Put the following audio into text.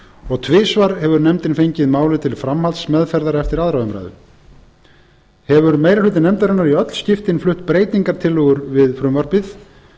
og tvisvar hefur nefndin fengið málið til framhaldsmeðferðar eftir önnur umræða hefur meiri hluti nefndarinnar í öll skiptin flutt breytingartillögur við frumvarpið